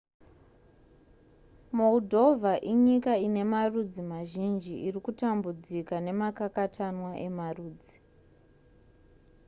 moldova inyika ine marudzi mazhinji irikutambudzika nemakakatanwa emarudzi